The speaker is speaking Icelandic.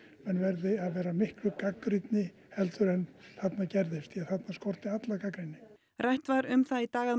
menn verði að vera miklu gagnrýnni en þarna gerðist því þarna skorti alla gagnrýni rætt var um það í dag